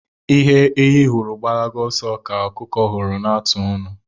Ihe ehi hụrụ gbalaba oso ka okuku huru na-atụ onu